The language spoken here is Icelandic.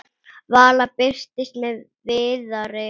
Vala birtist með Viðari.